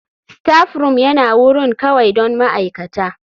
Staffroom yana wurin kawai don ma'aikata.